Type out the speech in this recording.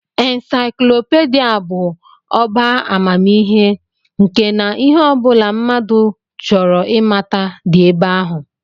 Insaiklopidịa bụ ọbá amamihe nke na ihe ọ bụla mmadụ chọrọ ịmata dị ebe ahụ